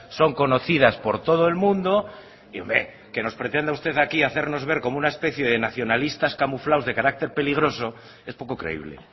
son conocidas por todo el mundo y que nos pretenda usted aquí hacernos ver como una especie de nacionalistas camuflados de carácter peligroso es poco creíble